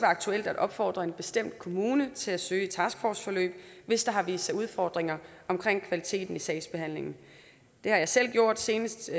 aktuelt at opfordre en bestemt kommune til at søge et taskforceforløb hvis der har vist sig udfordringer omkring kvaliteten i sagsbehandlingen det har jeg selv gjort senest i